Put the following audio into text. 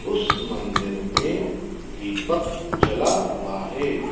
उस मंदिर में दीपक जला हुआ है।